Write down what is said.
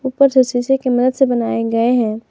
ऊपर से शीशे की मदद से बनाए गए हैं।